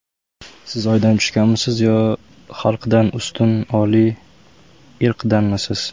Siz oydan tushganmisiz, yo xalqdan ustun oliy irqdanmisiz?